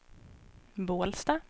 Bålsta